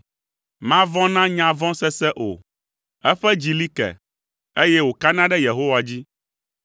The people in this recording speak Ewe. Mavɔ̃ na nya vɔ̃ sese o, eƒe dzi li ke, eye wòkana ɖe Yehowa dzi.